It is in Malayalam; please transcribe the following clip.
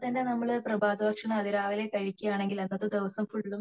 രാവിലെ എണീക്കുമ്പോ തന്നെ നമ്മൾ പ്രഭാതഭക്ഷണം അതിരാവിലെ കഴിക്കുകയാണെങ്കിൽ അതാത് ദിവസം ഫുള്ളും